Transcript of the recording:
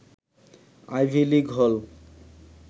ivy League হল